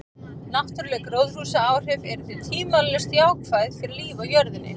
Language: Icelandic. Náttúruleg gróðurhúsaáhrif eru því tvímælalaust jákvæð fyrir líf á jörðinni.